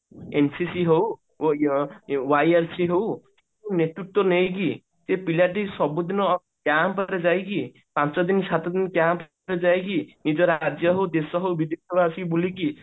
NCC ହଉ ଅ ଅ YIC ହଉ ନେତୃତ୍ଵ ନେଇକି ଏ ପିଲାଟି ସବୁଦିନ camp ରେ ଯାଇକି ପାଞ୍ଚ ଦିନ ସାତ ଦିନ camp ରେ ଯାଇକି ନିଜର ରାଜ୍ୟ ହଉ ଦେଶ ହଉ ବୁଲିକି